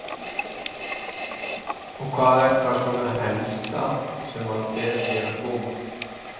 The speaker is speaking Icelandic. Berghildur: Og hvað er það svona það helsta sem að ber hér á góma?